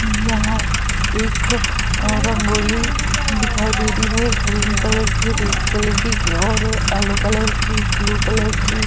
यहाँ एक अ रंगोली दिखाई दे रही है। एक ग्रीन कलर की रेड कलर की और येलो कलर की ब्लू कलर की --